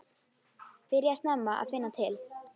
Byrjaði snemma að finna til.